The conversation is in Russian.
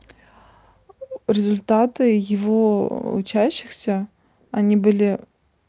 результаты его учащихся они были